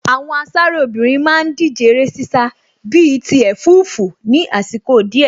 Àwọn asáré obìnrin má ń díje eré ṣíṣá bíi ti ẹ̀fúùfù ní àsìkò díẹ̀